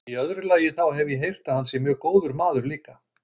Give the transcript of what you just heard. Í öðru lagi, þá hef ég heyrt að hann sé mjög góður maður líka.